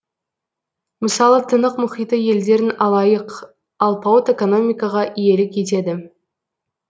мысалы тынық мұхиты елдерін алайық алпауыт экономикаға иелік етеді